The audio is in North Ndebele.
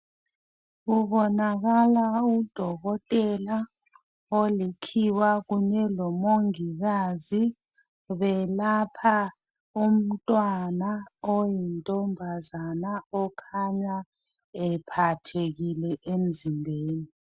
Kubonakala udokotela olikhiwa kunye lomongikazi belapha umntwana oyintombazana okhanya ephathekile emzimbeni.